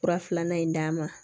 Kura filanan in d'a ma